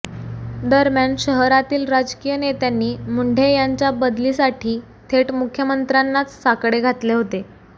दरम्यान शहरातील राजकीय नेत्यांनी मुंढे यांच्या बदलीसाठी थेट मुख्यमंत्र्यांनाच साकडे घातले होते